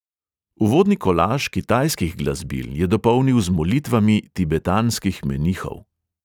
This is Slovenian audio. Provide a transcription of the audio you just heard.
Uvodni kolaž kitajskih glasbil je dopolnil z molitvami tibetanskih menihov.